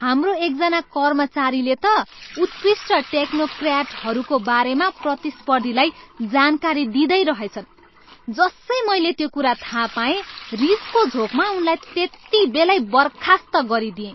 हाम्रो एकजना कर्मचारीले त उत्कृष्ट टेक्नोक्र्याटहरूको बारेमा प्रतिस्पर्धीलाई जानकारी दिँदै रहेछन्। जसै मैले त्यो कुरा थाहा पाएँ, रिसको झोँकमा उनलाई त्यतिबेलै बर्खास्त गरिदिएँ।